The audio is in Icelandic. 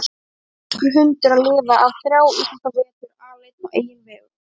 Hvernig á enskur hundur að lifa af þrjá íslenska vetur aleinn á eigin vegum?